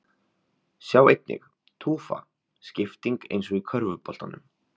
Sjá einnig: Tufa: Skipting eins og í körfuboltanum